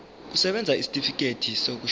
kusebenza isitifikedi sokushona